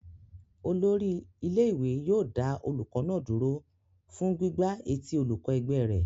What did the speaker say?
Olórí ilé-ìwé yóò dá olùkọ́ náà dúró fún gbígbá etí olùkọ́ ẹgbẹ́ rẹ̀.